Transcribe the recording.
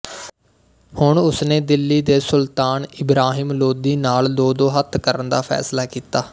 ਹੁਣ ਉਸ ਨੇ ਦਿੱਲੀ ਦੇ ਸੁਲਤਾਨ ਇਬਰਾਹਿਮ ਲੋਧੀ ਨਾਲ ਦੋਦੋ ਹੱਥ ਕਰਨ ਦਾ ਫੈਸਲਾ ਕੀਤਾ